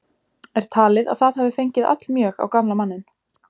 Er talið að það hafi fengið allmjög á gamla manninn.